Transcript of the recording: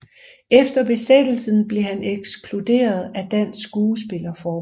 Efter besættelsen blev han ekskluderet af Dansk Skuespillerforbund